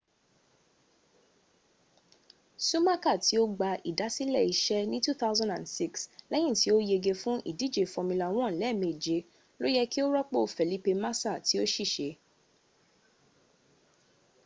sumaka ti o gba idasile ise ni 2006 leyin ti o yege fun idije formula 1 lemeje lo ye ki o ropo felipe masa ti o sise